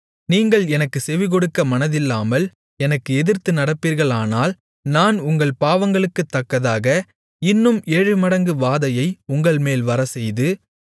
நீங்கள் எனக்குச் செவிகொடுக்க மனதில்லாமல் எனக்கு எதிர்த்து நடப்பீர்களானால் நான் உங்கள் பாவங்களுக்குத்தக்கதாக இன்னும் ஏழுமடங்கு வாதையை உங்கள்மேல் வரச்செய்து